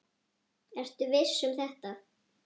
Ertu viss um þetta?